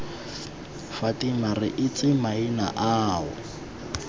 fatima re itse maina ao